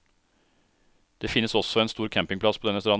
Det finnes også en stor campingplass på denne stranden.